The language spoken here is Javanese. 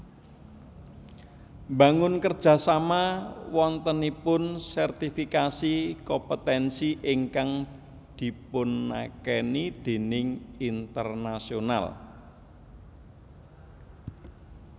Mbangun kerja sama wontenipun sertifikasi kompetensi ingkang dipunakeni déning internasional